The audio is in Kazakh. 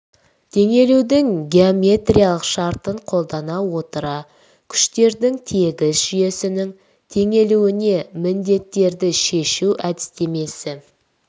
теңелудің геометриялық шартын қолдана отыра күштердің тегіс жүйесінің теңелуіне міндеттерді шешу әдістемесі